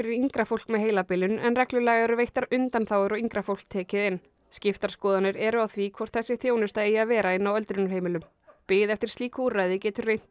yngra fólk með heilabilun en reglulega eru veittar undanþágur og yngra fólk tekið inn skiptar skoðanir eru á því hvort þessi þjónusta eigi að vera inni á öldrunarheimilum bið eftir slíku úrræði getur reynt